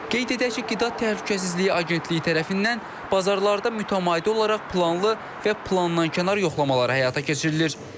Qeyd edək ki, Qida Təhlükəsizliyi Agentliyi tərəfindən bazarlarda mütəmadi olaraq planlı və plandankənar yoxlamalar həyata keçirilir.